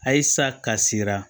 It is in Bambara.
Ayisa ka sira